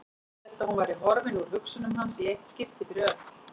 Hélt að hún væri horfin úr hugsunum hans í eitt skipti fyrir öll.